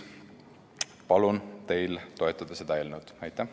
Palun teil toetada seda eelnõu!